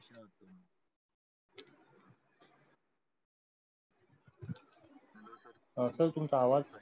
हा sir तुमचा आवाज?